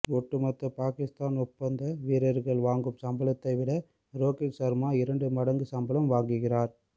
ஒட்டுமொத்த பாகிஸ்தான் ஒப்பந்த வீரர்கள் வாங்கும் சம்பளத்தை விட ரோகித் சர்மா இரண்டு மடங்கு சம்பளம் வாங்குகிறார்